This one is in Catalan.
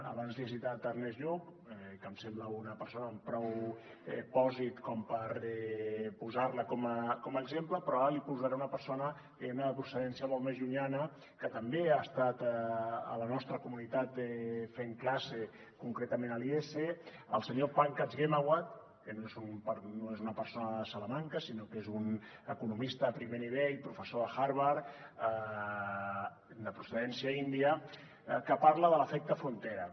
abans li he citat ernest lluch que em sembla una persona amb prou pòsit com per posar la com a exemple però ara li posaré una persona diguem ne de procedència molt més llunyana que també ha estat a la nostra comunitat fent classe concretament a l’iese el senyor pankaj ghemawat que no és una persona de salamanca sinó que és un economista de primer nivell professor de harvard de procedència índia que parla de l’efecte frontera